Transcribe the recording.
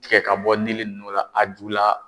Tigɛ ka bɔ nili nunnu na a ju la.